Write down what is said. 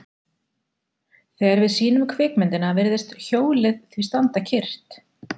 Þegar við sýnum kvikmyndina virðist hjólið því standa kyrrt.